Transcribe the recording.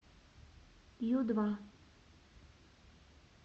ю два